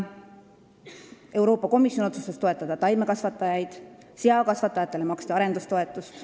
Euroopa Komisjon otsustas toetada taimekasvatajaid, seakasvatajatele maksti arendustoetust.